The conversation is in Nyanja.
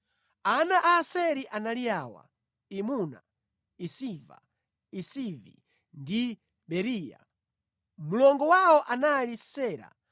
Ana a Aseri anali awa: Imuna, Isiva, Isivi ndi Beriya. Mlongo wawo anali Sera.